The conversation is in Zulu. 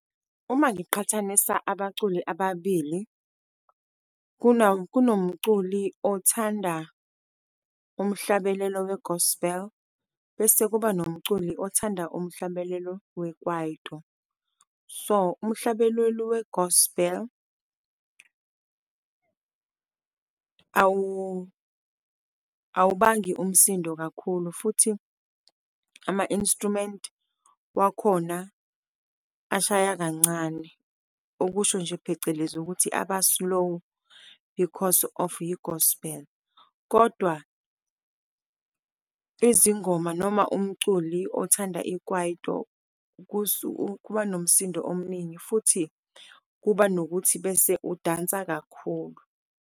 Uma ngiqhathanisa abaculi ababili, kunomculi othanda umhlabelelo we-gospel, bese kuba nomculi othanda umhlabelelo we-kwaito. So, umhlabelelo we-gospel awubangi umsindo kakhulu, futhi ama-instrument wakhona ashaya kancane, okusho nje phecelezi ukuthi aba slow because of yi-gospel. Kodwa izingoma noma umculi othanda i-kwaito kuba nomsindo omningi, futhi kuba nokuthi bese udansa kakhulu.